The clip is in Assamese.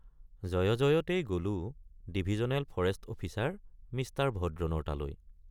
জয়জয়তেই গলোঁ ডিভিজনেল ফৰেষ্ট অফিচাৰ মিঃ ভদ্ৰনৰ তালৈ।